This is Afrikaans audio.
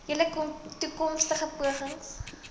julle toekomstige pogings